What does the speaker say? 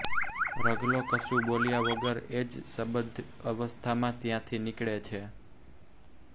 રઘલો કશું બોલ્યા વગર એ જ સ્તબ્ધ અવસ્થામાં ત્યાંથી નીકળે છે